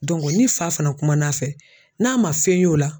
ni fa fana kumana fɛ n'a ma fɛn y'o la.